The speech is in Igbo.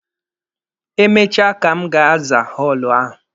Emechaa ka m ga-aza họọlụ ahụ.